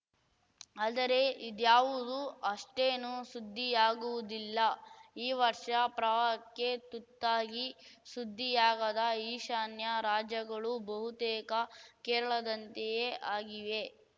ಆದರೆ ಇದ್ಯಾವುದೂ ಅಷ್ಟೇನೂ ಸುದ್ದಿಯಾಗುವುದಿಲ್ಲ ಈ ವರ್ಷ ಪ್ರವಾಹಕ್ಕೆ ತುತ್ತಾಗಿ ಸುದ್ದಿಯಾಗದ ಈಶಾನ್ಯ ರಾಜ್ಯಗಳೂ ಬಹುತೇಕ ಕೇರಳದಂತೆಯೇ ಆಗಿವೆ